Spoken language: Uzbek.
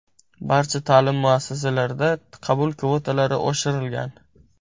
Barcha ta’lim muassasalarida qabul kvotalari oshirilgan.